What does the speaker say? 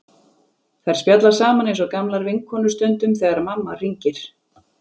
Þær spjalla saman eins og gamlar vinkonur stundum þegar mamma hringir.